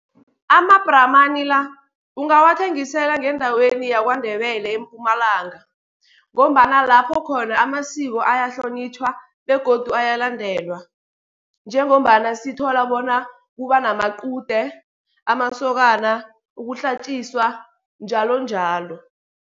Ama-brahman la ungawathengisela ngendaweni yaKwaNdebele eMpumalanga, ngombana lapho khona amasiko ayahlonitjhwa begodu ayalandelwa. Njengombana sithola bona kuba namaqude, amasokana, ukuhlatjiswa njalonjalo.